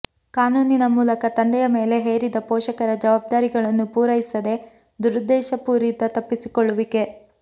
ಕಾನೂನಿನ ಮೂಲಕ ತಂದೆಯ ಮೇಲೆ ಹೇರಿದ ಪೋಷಕರ ಜವಾಬ್ದಾರಿಗಳನ್ನು ಪೂರೈಸದೆ ದುರುದ್ದೇಶಪೂರಿತ ತಪ್ಪಿಸಿಕೊಳ್ಳುವಿಕೆ